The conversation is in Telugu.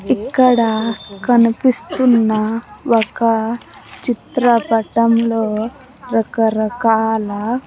ఇక్కడ కనిపిస్తున్నా ఒక చిత్రపటంలో రకరకాల--